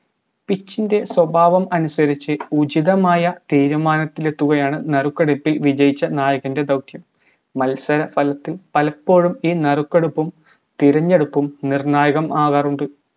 pitch സ്വഭാവം അനുസരിച്ച്‌ ഉചിതമായ തീരുമാനത്തിലെത്തുകയാണ് നറുക്കെടുപ്പിൽ വിജയിച്ച നായകൻറെ ദൗത്യം മത്സര തലത്തിൽ പലപ്പോഴും ഈ നറുക്കെടുപ്പും തിരഞ്ഞെടുപ്പും നിർണായകമാകാറുണ്ട്